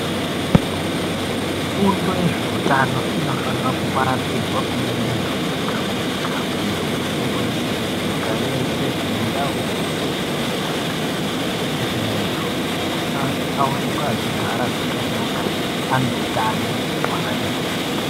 Fundo yezveutano inofana kuparadzirwa kune muntu wega wega muntu weshe weshe ,nyika yeshe mundau dzeshe dzenyika kuti muntu awanikwe achigara zvakanaka ane hutano hwakati hwee.